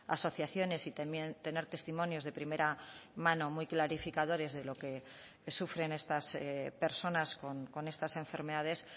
asociaciones y también tener testimonios de primera mano muy clarificadores de lo que sufren estas personas con estas enfermedades